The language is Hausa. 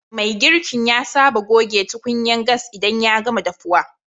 Mai girkin ya saba gogen tukunyan gas idan ya gama dafuwa.